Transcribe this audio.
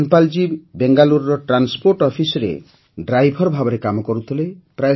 ଧନ୍ପାଲ୍ ଜୀ ବେଙ୍ଗାଲୁରୁର ଟ୍ରାନ୍ସପୋର୍ଟ Officeରେ ଡ୍ରାଇଭର ଭାବରେ କାମ କରୁଥିଲେ